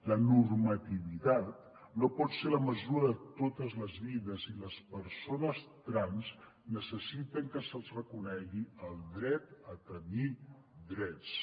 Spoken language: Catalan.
la normativitat no pot ser la mesura de totes les vides i les persones trans necessiten que se’ls reconegui el dret a tenir drets